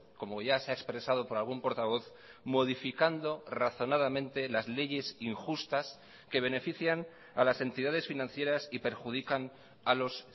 como ya se ha expresado por algún portavoz modificando razonadamente las leyes injustas que benefician a las entidades financieras y perjudican a los